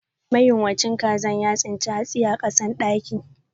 Mayunwacin kazan ya tsince hatsi a kasan dakin.